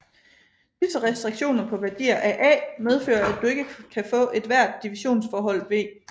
Disse restriktioner på værdier af A medfører at du ikke kan få ethvert divisionsforhold V